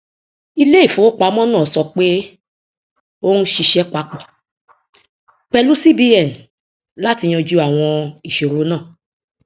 iléìfowópamọ náà sọ pé ó ń ṣiṣẹ papọ pẹlú cbn láti yanjú àwọn ìṣòro náà